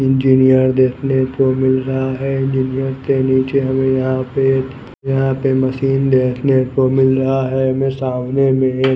engineer देखने को मिल रहा है इंजीनियर के नीचे हमें यहां पे यहां पे मशीन देखने को मिल रहा है मैं सामने में --